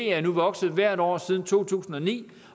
er nu vokset hvert år siden to tusind og ni